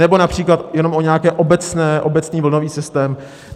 Nebo například jenom o nějaké obecné, obecný vlnový systém?